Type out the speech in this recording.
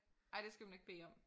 Ej det skal man ikke bede om